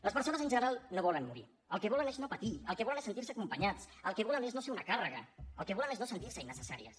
les persones en general no volen morir el que volen és no patir el que volen és sentir se acompanyades el que volen és no ser una càrrega el que volen és no sentir se innecessàries